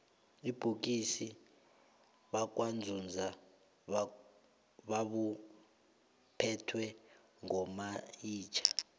ubukhosi bakwanzunza babuphetwe ngomayitjha